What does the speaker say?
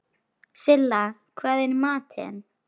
Silla, hvað er í matinn?